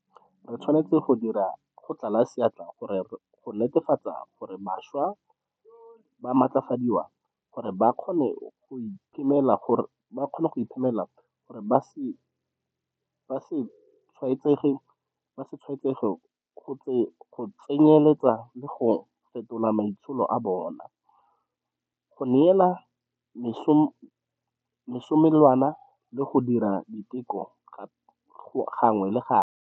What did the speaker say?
Re tshwanetse go dira go tlala seatla go netefatsa gore bašwa ba matlafadiwa gore ba kgone go iphemela gore ba se tshwaetsege, go tsenyeletsa le ka go fetola maitsholo a bona, go neelwa mesomelwana le go dira diteko gangwe le gape.